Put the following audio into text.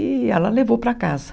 E ela levou para casa.